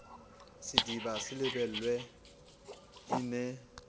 sediba se lebelwe e ne